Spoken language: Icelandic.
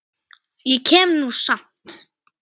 Ég kem nú samt!